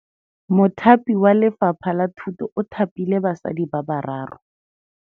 Mothapi wa Lefapha la Thutô o thapile basadi ba ba raro.